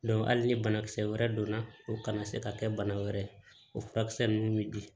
hali ni banakisɛ wɛrɛ donna o kana se ka kɛ bana wɛrɛ ye o furakisɛ ninnu bɛ di